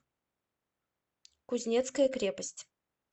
кузнецкая крепость